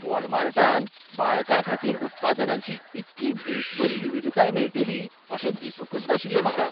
वॉलमार्टांत बाळकांखातीर उत्पादनांची इतली बेसबरी विविधताय मेळटली अशें दिसूंकच नाशिल्लें म्हाका.